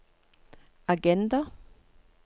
agenda